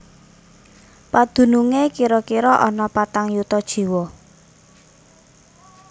Padunungé kira kira ana patang yuta jiwa